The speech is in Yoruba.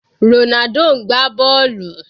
Ronaldo ń gbá bọ́ọ̀lù.